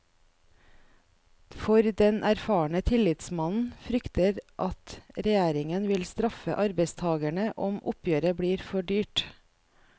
For den erfarne tillitsmannen frykter at regjeringen vil straffe arbeidstagerne om oppgjøret blir for dyrt.